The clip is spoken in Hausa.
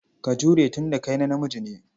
Ka jure tun da ka namiji ne.